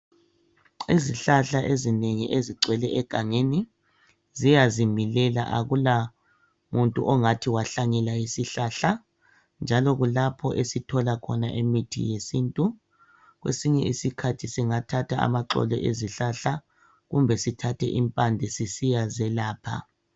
Izihlahla ezinengi ezigcwele egangeni ziyazi milela akula muntu ongathi wahlanyela isihlahla njalo kulapho esithola khona imithi yesintu kwesinye isikhathi singathatha amaxolo ezihlahla kumbe sithathe impande sisiyazelapha.